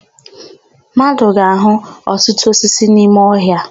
Mmadụ ga-áhụ̀ ọtụtụ osisi n'ime ọhịa.